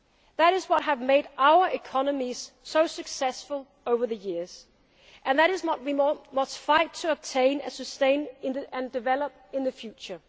and what makes our social model so unique. That is what I believe in. That is what has made our economies so successful over the years and